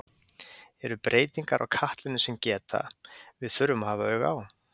Eru breytingar á katlinum sem geta, við þurfum að hafa auga á?